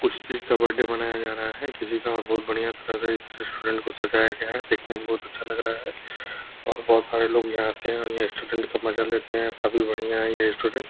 कुछ चीज का बर्थडे मनाया जा रहा है किसी का बहुत बढियाँ तरह का इस रेस्टॉरेंट को सजाया गया है। देखने मे बहुत अच्छा लग रहा है और बहुत सारे लोग यहाँ आते है और रेस्टॉरेंट का मजा लेते है। काफी बढियाँ है ये रेस्टॉरेंट ।